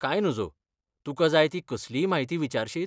कांय नजो, तुका जाय ती कसलीय म्हायती विचारशीत?